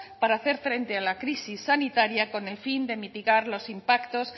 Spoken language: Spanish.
para hacer frente a la crisis sanitaria con el fin de mitigar los impactos